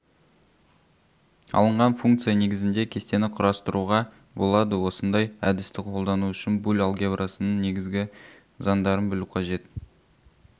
алынған функция негізінде кестені құрастыруға болады осындай әдісті қолдану үшін буль алгебрасының негізгі заңдарын білу қажет